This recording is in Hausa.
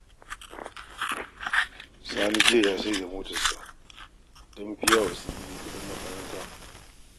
Sani jiya ya sayar da motarsa don ya biya wa su Idi kuɗin makaranta